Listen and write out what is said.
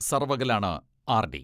സർവ്വകലാണ് RD.